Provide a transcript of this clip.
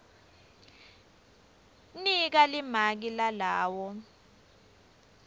nika limaki lalawo